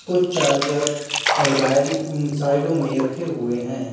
कुछ चार्जर अलमारी साइडो में रखे हुए हैं।